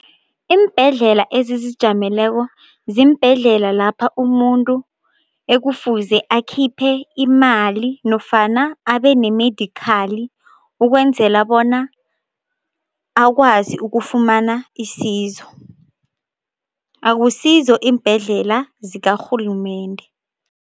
Iimbhedlela ezizijameleko ziimbhedlela lapha umuntu ekufuze akhiphe imali nofana abe ne-medical ukwenzela bona akwazi ukufumana isizo, akusizo iimbhedlela zikarhulumende.